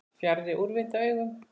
Fjarri úrvinda augum.